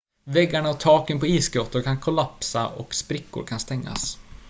väggarna och taken på isgrottor kan kollapsa och sprickor kan stängas